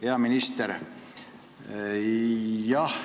Hea minister!